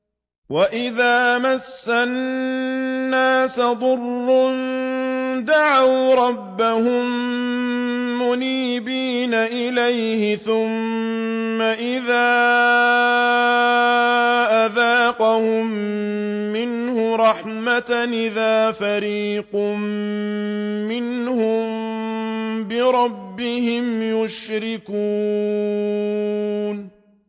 وَإِذَا مَسَّ النَّاسَ ضُرٌّ دَعَوْا رَبَّهُم مُّنِيبِينَ إِلَيْهِ ثُمَّ إِذَا أَذَاقَهُم مِّنْهُ رَحْمَةً إِذَا فَرِيقٌ مِّنْهُم بِرَبِّهِمْ يُشْرِكُونَ